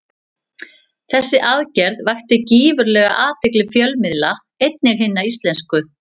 Þessi aðgerð vakti gífurlega athygli fjölmiðla, einnig hinna íslensku.